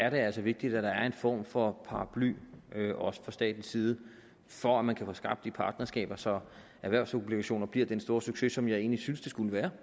altså vigtigt at der er en form for paraply også fra statens side for at man kan få skabt de partnerskaber så erhvervsobligationer bliver den store succes som jeg egentlig synes det skulle være